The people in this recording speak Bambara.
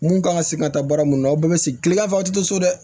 Mun kan ka segin ka taa baara mun na aw bɛɛ bɛ segin kilegan fɛ a tɛ to so dɛ